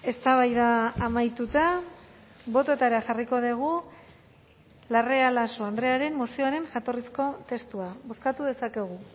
eztabaida amaituta bototara jarriko dugu larrea laso andrearen mozioaren jatorrizko testua bozkatu dezakegu